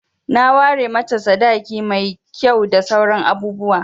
Na ware mata sadaki mai kyau da sauran abubuwa.